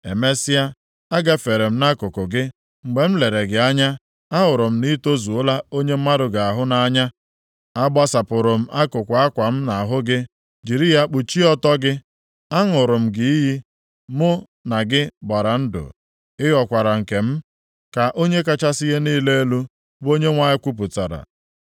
“ ‘Emesịa, a gafere m nʼakụkụ gị, mgbe m lere gị anya ahụrụ m na i tozuola onye mmadụ ga-ahụ nʼanya. A gbasapụrụ m akụkụ akwa m nʼahụ gị, jiri ya kpuchie ọtọ gị. Aṅụrụ m gị iyi, mụ na gị gbara ndụ, ị ghọkwara nke m. Ka Onye kachasị ihe niile elu, bụ Onyenwe anyị kwupụtara.